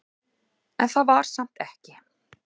En það var samt ekki.